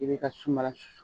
I bɛ ka sumala susu